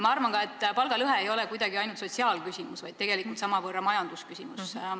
Ma arvan ka, et palgalõhe ei ole ainult sotsiaalküsimus, vaid tegelikult samavõrra majandusküsimus.